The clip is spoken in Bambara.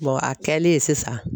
a kɛlen sisan